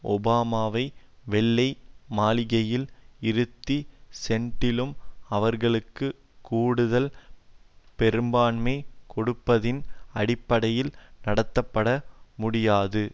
ஒபாமாவை வெள்ளை மாளிகையில் இருத்தி செனட்டிலும் அவர்களுக்கு கூடுதல் பெரும்பான்மை கொடுப்பதின் அடிப்படையில் நடத்தப்படமுடியாது